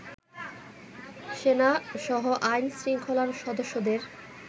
সেনাসহ আইন-শৃঙ্খলার সদস্যদের